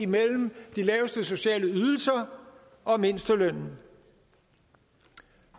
mellem de laveste sociale ydelser og mindstelønnen